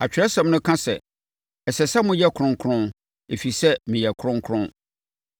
Atwerɛsɛm no aka sɛ, “Ɛsɛ sɛ moyɛ kronkron, ɛfiri sɛ, meyɛ kronkron.”